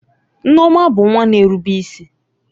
Nneoma bụ nwa na-erube isi.